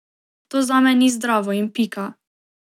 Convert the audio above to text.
To zame ni zdravo in pika.